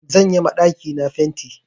Zan yi ma ɗakina fenti.